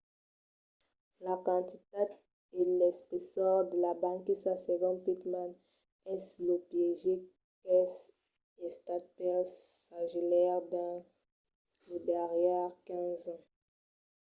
la quantitat e l'espessor de la banquisa segon pittman es lo piéger qu'es estat pels sagelaires dins los darrièrs 15 ans